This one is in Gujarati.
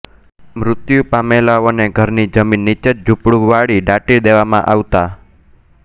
મૃત્યુ પમેલાઓને ઘરની જમીન નીચેજ ગુંચડું વાળી દાટી દેવામાં આવતાં